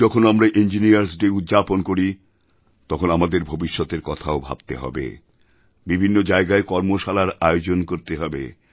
এখন যখন আমরা ইঞ্জিনিয়ার্স ডে উদ্যাপন করি তখন আমাদের ভবিষ্যতের কথাও ভাবতে হবে বিভিন্ন জায়গায় কর্মশালার আয়োজনকরতে হবে